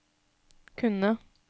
kunne